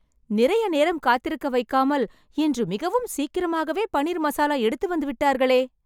நிறைய நேரம் காத்திருக்க வைக்காமல் இன்று மிகவும் சீக்கிரமாகவே பன்னீர் மசாலா எடுத்து வந்துவிட்டார்களே